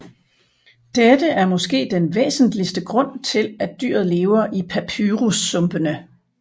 Dette er måske den væsentligste grund til at dyret lever i papyrussumpene